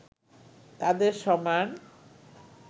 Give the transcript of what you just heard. তাদের সমান